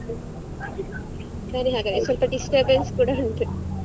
ಸೇರಿ ಹಾಗಾದ್ರೆ ಸ್ವಲ್ಪ disturbance ಕೂಡ ಉಂಟು. .